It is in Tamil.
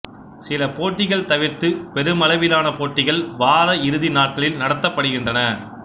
சில போட்டிகள் தவிர்த்து பெருமளவிலான போட்டிகள் வாரஇறுதி நாட்களில் நடத்தப்படுகின்றன